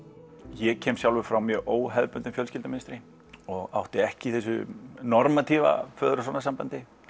ég kem sjálfur frá mjög óhefðbundnu fjölskyldumynstri og átti ekki í þessu föður og sonar sambandi